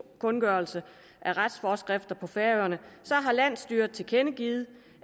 kundgørelse af retsforeskrifter på færøerne har landsstyret tilkendegivet